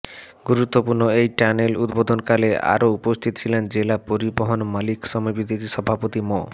গুরুত্বপূর্ণ এই টানেল উদ্বোধনকালে আরো উপস্থিত ছিলেন জেলা পরিবহন মালিক সমিতির সভাপতি মো